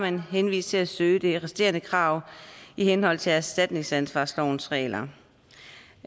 henvist til at søge de resterende krav i henhold til erstatningsansvarslovens regler